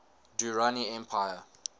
durrani empire